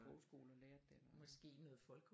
Sprogskole og lære det den vej